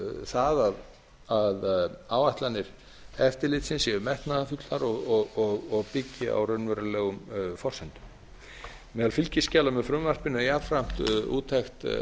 það að áætlanir eftirlitsins séu metnaðarfullar og byggi á raunverulegum forsendum meðal fylgiskjala með frumvarpinu er jafnframt úttekt